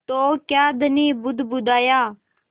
तो क्या धनी बुदबुदाया